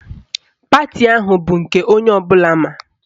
Pati ahụ bụ nke onye ọbụla ma.